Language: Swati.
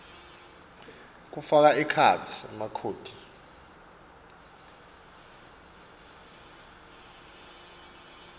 kufaka ekhatsi emakhodi